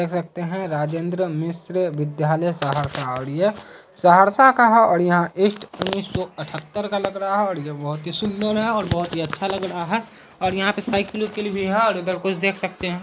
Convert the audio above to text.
देख सकते हैं राजेंद्र मिश्र विद्यालय सहरसा और ये सहरसा का है और यहाँ ईस.टी.डी. उन्नीस सौ अठहतर का लग रहा है और ये बहुत ही सुन्दर है और बहुत ही अच्छा लग रहा है और यहाँ पे साइकिल - ओईकील भी है और इधर कुछ देख सकते हैं।